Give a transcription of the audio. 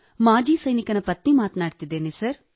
ಮಾಜಿ ಸೈನಿಕನ ಪತ್ನಿ ಮಾತನಾಡುತ್ತಿದ್ದೇನೆ ಸರ್